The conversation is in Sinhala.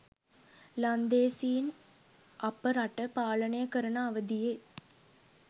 ලන්දේසීන් අප රට පාලනය කරන අවදියේ